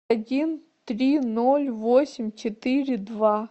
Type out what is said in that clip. один три ноль восемь четыре два